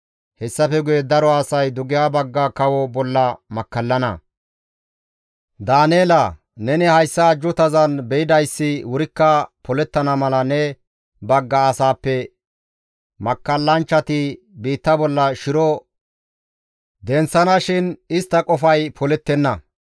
«Hessafe guye daro asay dugeha bagga kawo bolla makkallana; Daaneela neni hayssa ajjuutazan be7idayssi wurikka polettana mala ne bagga asaappe makkallanchchati biitta bolla shiro denththana shin istta qofay polettenna.